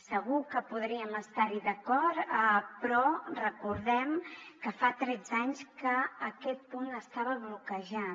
segur que podríem estar hi d’acord però recordem que fa tretze anys que aquest punt estava bloquejat